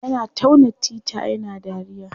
Yana tauna tita yana dariya.